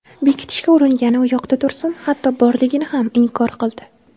Bekitishga uringani uyoqda tursin, hatto borligini ham inkor qildi.